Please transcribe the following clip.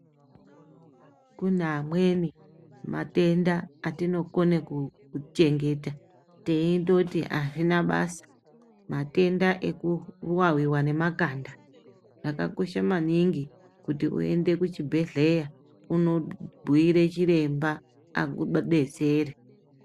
Kune amweni matenda atinoke kuchengeta teindoti azvina basa matenda ekuwaiwa ngemakanda zvakakosha maningi kuti uende kuchibhehleya unombhuyire chiremba akudetsere.